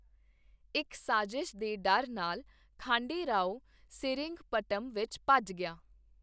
ਇੱਕ ਸਾਜ਼ਿਸ਼ ਦੇ ਡਰ ਨਾਲ, ਖਾਂਡੇ ਰਾਓ ਸੇਰਿੰਗਪਟਮ ਵਿੱਚ ਭੱਜ ਗਿਆ।